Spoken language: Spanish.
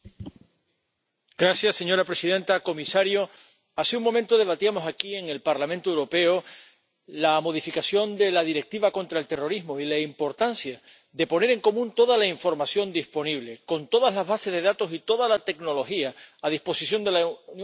Señora presidenta, comisario, hace un momento debatíamos aquí, en el Parlamento Europeo, la modificación de la Directiva relativa a la lucha contra el terrorismo y la importancia de poner en común toda la información disponible, con todas las bases de datos y toda la tecnología a disposición de la Unión Europea, que no es poca.